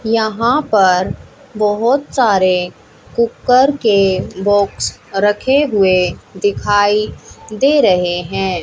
यहां पर बहोत सारे कुकर के बॉक्स रखे हुए दिखाई दे रहे हैं।